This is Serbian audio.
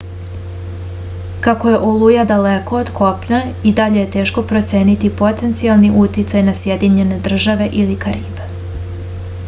kako je oluja daleko od kopna i dalje je teško proceniti potencijalni uticaj na sjedinjene države ili karibe